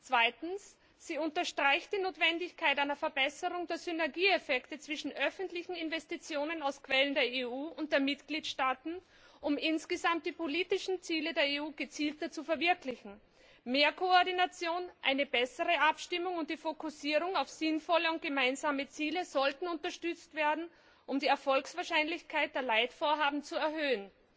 Zweitens Sie unterstreicht die Notwendigkeit einer Verbesserung der Synergieeffekte zwischen öffentlichen Investitionen aus Quellen der EU und der Mitgliedstaaten, um insgesamt die politischen Ziele der EU gezielter zu verwirklichen. Mehr Koordination, eine bessere Abstimmung und die Fokussierung auf sinnvolle und gemeinsame Ziele sollten unterstützt werden, um die Erfolgswahrscheinlichkeit der Leitvorhaben zu erhöhen.